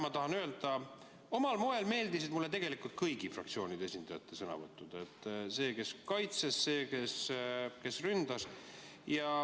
Ma tahan öelda, et omal moel meeldisid mulle tegelikult kõigi fraktsioonide esindajate sõnavõtud: nii selle oma, kes kaitses, kui ka selle oma, kes ründas.